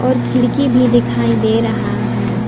एक खिड़की भी दिखाई दे रहा है।